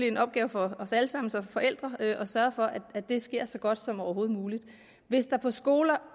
en opgave for os alle sammen som forældre at sørge for at det sker så godt som overhovedet muligt hvis der på skoler